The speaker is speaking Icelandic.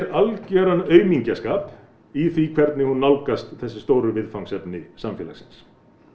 algjöran aumingjaskap í því hvernig hún nálgast þessi stóru viðfangsefni samfélagsins